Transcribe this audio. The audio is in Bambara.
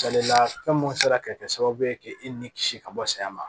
Salila fɛn mun sera ka kɛ sababu ye k'e ni kisi ka bɔ saya ma